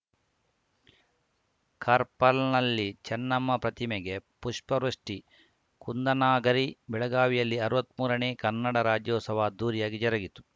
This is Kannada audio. ಕಾರ್ಪಲ್ ನಲ್ಲಿ ಚೆನ್ನಮ್ಮ ಪ್ರತಿಮೆಗೆ ಪುಷ್ಪವೃಷ್ಟಿ ಕುಂದಾನಗರಿ ಬೆಳಗಾವಿಯಲ್ಲಿ ಅರ್ವತ್ಮೂರನೇ ಕನ್ನಡ ರಾಜ್ಯೋತ್ಸವ ಅದ್ಧೂರಿಯಾಗಿ ಜರುಗಿತು